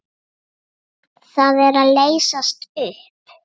Það er að leysast upp.